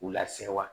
K'u lase wa